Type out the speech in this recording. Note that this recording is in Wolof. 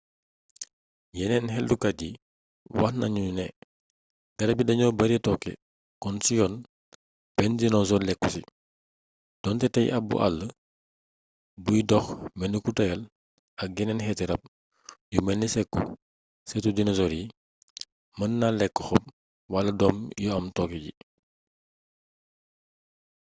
yeneen xeltukat yi wax nanu ne garab yii dañoo bare tooke kon ci yoon benn dinosoor lekku ci doonte tey abbu àll buy dox melni ku tàyyel ak yeneen xeeti rab yu melni sekusëtu dinosoor yi mën na lekk xob wal doom yu am tooke yi